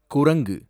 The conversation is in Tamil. குரங்கு